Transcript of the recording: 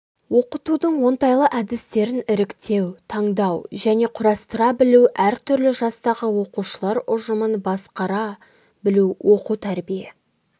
оқытудың оңтайлы әдістерін іріктеу таңдау және құрастыра білу әр түрлі жастағы оқушылар ұжымын басқара білу оқу-тәрбие